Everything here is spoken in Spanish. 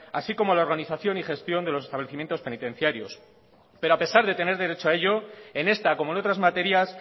así como la organización y gestión de los establecimientos penitenciarios pero a pesar de tener derecho a ello en esta como en otras materias